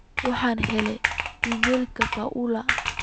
waxaan helay iimaylka paula